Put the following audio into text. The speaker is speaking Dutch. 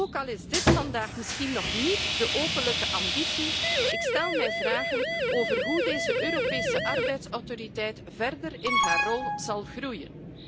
Ook al is dit vandaag misschien nog niet de openlijke ambitie, ik vraag me af hoe deze Europese arbeidsautoriteit verder in haar rol zal groeien.